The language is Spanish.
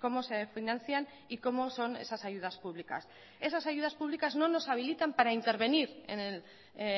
cómo se financian y cómo son esas ayudas públicas esas ayudas públicas no nos habilitan para intervenir en el